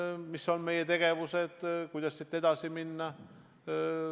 Arutasime, milline on meie tegevus ja kuidas edasi minna.